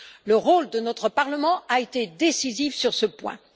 Le rôle de notre Parlement a été décisif sur ce point.